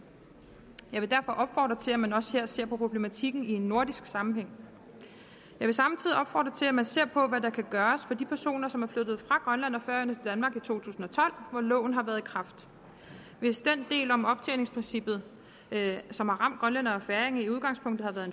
jeg vil derfor opfordre til at man også her ser på problematikken i en nordisk sammenhæng jeg vil samtidig opfordre til at man ser på hvad der kan gøres for de personer som er flyttet fra grønland og færøerne danmark i to tusind og tolv hvor loven har været i kraft hvis den del om optjeningsprincippet som har ramt grønlændere og færinger i udgangspunktet har været